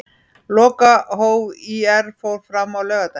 Lokahóf ÍR fór fram á laugardaginn.